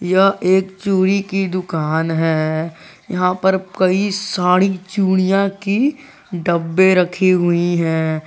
यह एक चूड़ी की दुकान है यहां पर कई साड़ी चूड़ियां की डब्बे रखी हुई है।